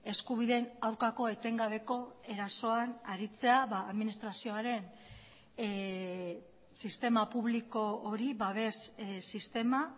eskubideen aurkako etengabeko erasoan aritzea administrazioaren sistema publiko hori babes sistema